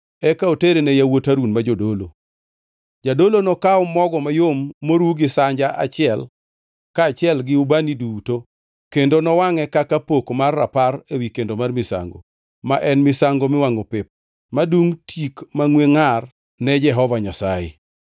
eka otere ne yawuot Harun ma jodolo. Jadolo nokaw mogo mayom moru gi sanja achiel kaachiel gi ubani duto kendo nowangʼe kaka pok mar rapar ewi kendo mar misango, ma en misango miwangʼo pep, madum tik mangʼwe ngʼar ne ma Jehova Nyasaye.